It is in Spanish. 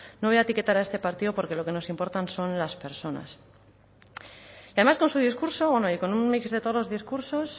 no voy a etiquetar a este partido porque lo que nos importan son las personas y además con su discurso bueno y con un mix de todos los discursos